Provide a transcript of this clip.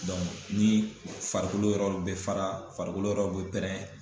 ni farikolo yɔrɔ dɔ bɛ fara, farikolo yɔrɔ dɔ bɛ pɛrɛn.